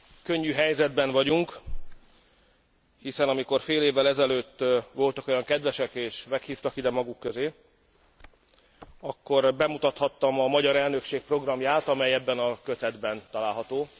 Könnyű helyzetben vagyunk, hiszen amikor fél évvel ezelőtt voltak olyan kedvesek és meghívtak ide maguk közé, akkor bemutathattam a magyar elnökség programját, amely ebben a kötetben található.